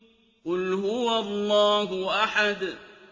قُلْ هُوَ اللَّهُ أَحَدٌ